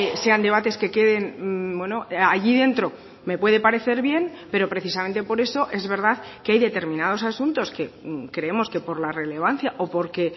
sean debates que queden allí dentro me puede parecer bien pero precisamente por eso es verdad que hay determinados asuntos que creemos que por la relevancia o porque